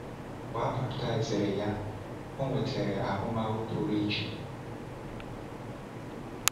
Mgbe e baptiziri ya, o nwetara ahụmahụ pụrụ iche.